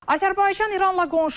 Azərbaycan İranla qonşudur.